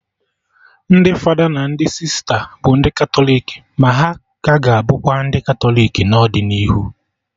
Ndị fada na ndị sista bụ ndị Katọlik, ma ha ka ga-abụkwa ndị Katọlik n'ọdịnihu